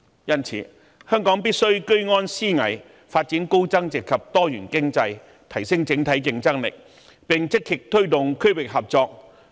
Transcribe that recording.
因此，香港必須居安思危，發展高增值及多元經濟，提升整體競爭力，並積極推動區域合作。